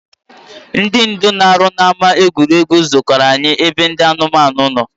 Ndị ndu na-arụ n’ama egwuregwu zukọrọ anyị ebe ndị anụmanụ no